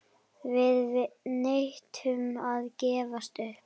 Við neitum að gefast upp.